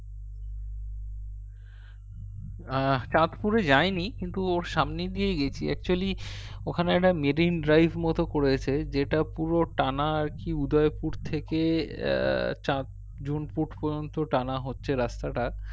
আহ চাঁদপুরে যায়নি কিন্তু ওর সামনে দিয়ে গেছি actually ওখানে একটা made in drive মতো করেছে যেটা পুরো টানা আরকি উদয়পুর থেকে আহ চাঁদ জুনপুট পর্যন্ত টানা হচ্ছে রাস্তাটা